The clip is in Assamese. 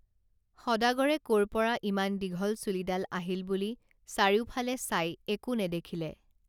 সদাগৰে কৰপৰা ইমান দীঘল চুলিডাল আহিল বুলি চাৰিওফালে চাই একো নেদেখিলে